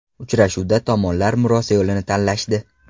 Uchrashuvda tomonlar murosa yo‘lini tanlashdi.